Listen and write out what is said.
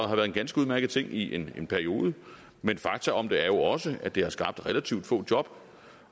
har været en ganske udmærket ting i en periode men fakta om det er jo også at det har skabt relativt få job